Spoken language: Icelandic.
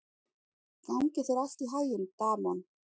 Gangi þér allt í haginn, Damon.